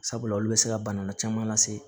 Sabula olu bɛ se ka bana caman lase